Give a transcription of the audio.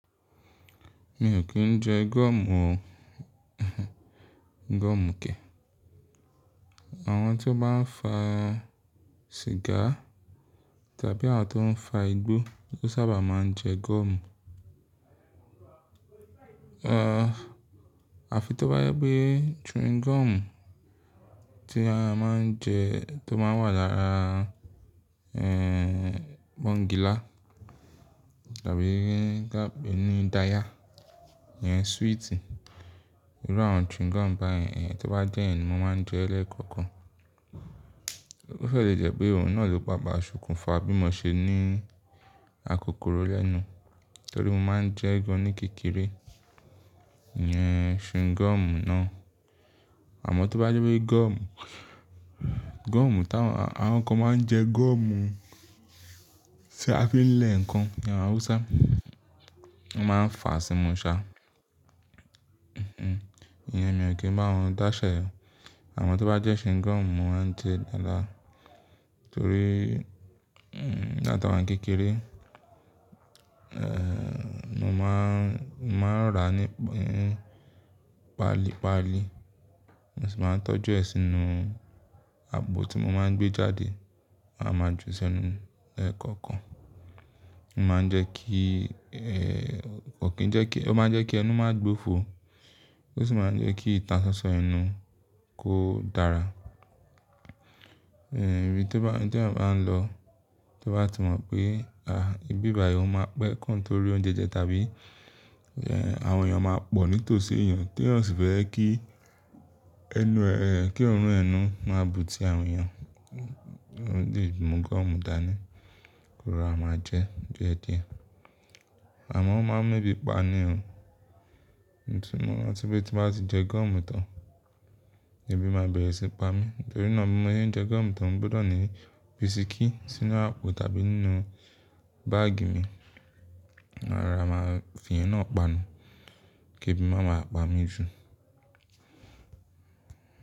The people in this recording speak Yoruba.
Mi ò kí ń jẹ gọ́ọ̀mù o, gọ́ọ̀mù ke àwọn tí ó bá ń fa sìgá tàbí àwọn tó ń fa igbó ló sábà máa ń jẹ gọ́ọ̀mù. Àfi tó bá jẹ́ pé chewing gum tí a máa ń jẹ tó máa ń wà lára pọ́ńgìlá tàbí kape ní daya, ìyẹn sweet irú àwọn chewing gum báyẹn, tí ó bá jẹ́ ìyẹn mo máa ń jẹ ẹ lẹ́ẹ̀kọ́okan. Ó fẹ́ lè jẹ́ pé òun náà ló pá pa ṣe okún fa bí mo ṣe ní akokoro lẹ́nu. Torí mo máa ń jẹ ẹ́ gan ní kékeré, ìyẹn chewing gum náà. Àmọ́ tó bá jẹ́ pé gọ́ọ̀mù, gọ́ọ̀mù táwọn àwọn kan máa ń jẹ gọ́ọ̀mù tí a fi ń lẹ̀ ǹkan ní Hausa, wọ́n máa ń fà á símu ṣá. Ìyẹn mi ò kí ń bá wọ̀n dáṣẹ. Àmọ́ tó bá jẹ́ chewing gum mo máa ń jẹ dáadáa torí nígbà tí àwa ni kékeré mo máa ń, máa ń rà á nípali palí, mo sì máa ń tọ́jú ẹ sínú àpò tí mo máa ń gbé jáde, màá máa ju sẹ́nu lẹ́yo kọ́ọ̀kàn. Ó máa ń jẹ́ kí kokin jẹ́ kí, ó máa ń jẹ́ kí ẹnu má gbofo, ó sì máa ń jẹ́ kí ìtàn sansan ẹnu kó dára. Ibi tí èèyàn bá ń lọ, tí ó bá ti mọ̀ pé ìbi bà yìí ó máa pẹ́ ki torí oúnjẹ jẹ tàbí àwọn èèyàn máa pọ̀ nítòsí èèyàn, tí èèyàn ó sifẹ́ kí ẹnu rẹ̀ kí orun ẹnu máa bù tí àwọn èèyàn, òun lè mu gọ́ọ̀mù dání kó ro ra máa jẹ ẹ. Àmọ́ ó máa ń mu ebi pa ni o, nítorí moranti pé tí mo bá ti jẹ gọ́ọ̀mù tán, ebi máa bẹ̀rẹ̀ sí ni pa mí. Nítorí náà bi mọ̀ sẹ́n jẹ gọ́ọ̀mù tań, mo gbọ́dọ̀ ní bisikí sínú àpò tàbí nínú báàgì mi. Ma rora máa fi ìyẹn náà panu kí ebi máa ma pa mí jù.